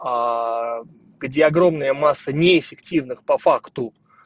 где огромная масса неэффективных по факту